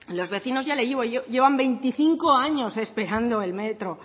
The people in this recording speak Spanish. los vecinos ya le digo llevan veinticinco años esperando el metro